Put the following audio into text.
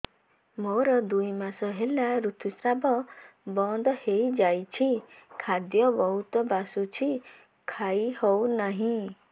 ମୋର ଦୁଇ ମାସ ହେଲା ଋତୁ ସ୍ରାବ ବନ୍ଦ ହେଇଯାଇଛି ଖାଦ୍ୟ ବହୁତ ବାସୁଛି ଖାଇ ହଉ ନାହିଁ